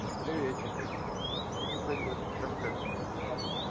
приветик да пойдёт ты там как